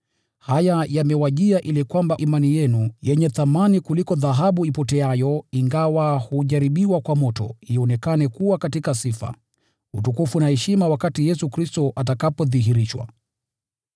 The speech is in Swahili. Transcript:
Haya yamewajia ili kwamba imani yenu, iliyo ya thamani kuliko dhahabu ipoteayo, ingawa hujaribiwa kwa moto, ionekane kuwa halisi na imalizie katika sifa, utukufu na heshima wakati Yesu Kristo atadhihirishwa.